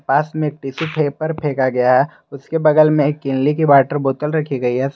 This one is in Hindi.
पास में टिशू पेपर फेंका गया है उसके बगल में किनले की वाटर बोतल रखी गई है।